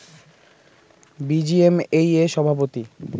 BGMEA সভাপতি